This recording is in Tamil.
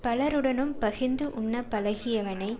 பலருடனும் பகிர்ந்து உண்ணப் பழகியவனை